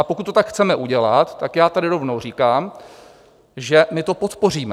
A pokud to tak chceme udělat, tak já tady rovnou říkám, že my to podpoříme.